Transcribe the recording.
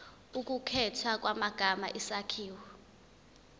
ukukhethwa kwamagama isakhiwo